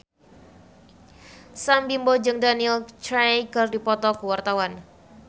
Sam Bimbo jeung Daniel Craig keur dipoto ku wartawan